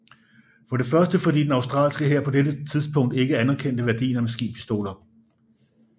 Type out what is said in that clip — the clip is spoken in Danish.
For det første fordi den australske hær på dette tidspunkt ikke anerkendte værdien af maskinpistoler